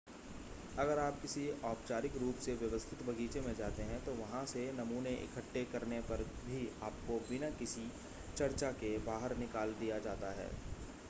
अगर आप किसी औपचारिक रूप से व्यवस्थित बगीचे में जाते हैं तो वहां से नमूने इकट्ठे करने पर भी आपको बिना किसी चर्चा के बाहर निकाल दिया जाता है